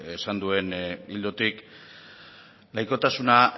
esan duen ildotik laikotasuna